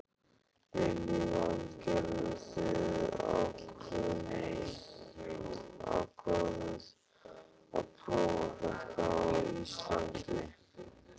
Lillý Valgerður: Þið ákváðuð að prófa þetta á Íslandi?